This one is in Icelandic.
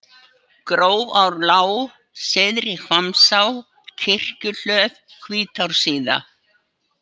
Grófarlág, Syðri-Hvammsá, Kirkjuhlöð, Hvítársíða